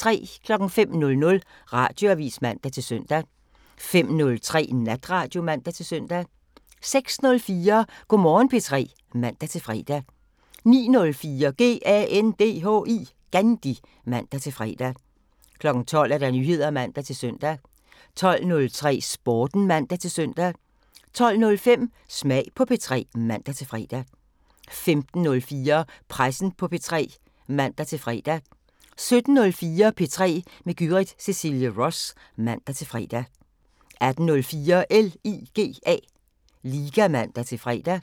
05:00: Radioavisen (man-søn) 05:03: Natradio (man-søn) 06:04: Go' Morgen P3 (man-fre) 09:04: GANDHI (man-fre) 12:00: Nyheder (man-søn) 12:03: Sporten (man-søn) 12:05: Smag på P3 (man-fre) 15:04: Pressen på P3 (man-fre) 17:04: P3 med Gyrith Cecilie Ross (man-fre) 18:04: LIGA (man-fre)